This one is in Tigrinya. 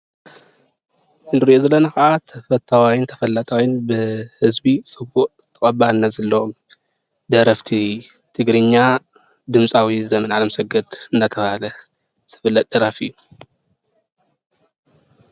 እዚ እንሪኦ ዘለና ክዓ ተፈታዋይ ተፈላጣይን ብህዝቢ ፅቡቅ ተቀባልነት ዘለዎም ደረፍቲ ትግሪኛ ድምፃዊ ዘመን ኣለምሰገድ እናተብሃለ ዝፍለጥ ደራፊ እዩ።